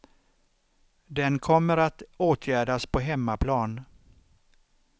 Den kommer att åtgärdas på hemmaplan.